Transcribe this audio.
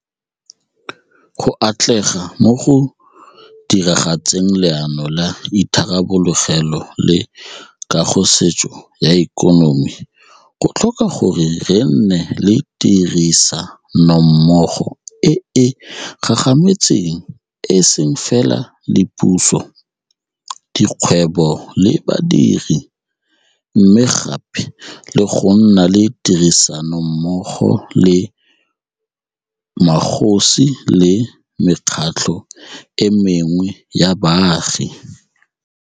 Go atlega mo go diragatseng Leano la Itharabologelo le Kagosešwa ya Ikonomi go tlhoka gore re nne le tirisa nommogo e e gagametseng e seng fela le puso, dikgwebo le badiri, mme gape le go nna le tirisanommogo le magosi le mekgatlho e mengwe ya baagi.